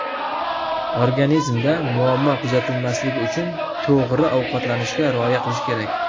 Organizmda muammo kuzatilmasligi uchun to‘g‘ri ovqatlanishga rioya qilish kerak.